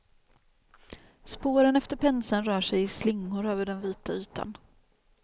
Spåren efter penseln rör sig i slingor över den vita ytan.